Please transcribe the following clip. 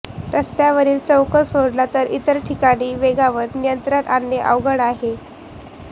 रस्त्यावरील चौक सोडला तर इतर ठिकाणी वेगावर नियंत्रण आणणे अवघड आहे